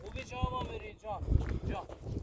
Güvəcə hava veririk, can, can.